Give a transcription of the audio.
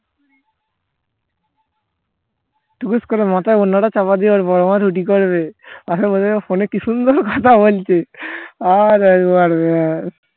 টুকুস করে মাথায় ওরনাটা চাপা দিয়া ওর বড়মা রুটি করবে ফোন এ কি সুন্দর কথা বলছে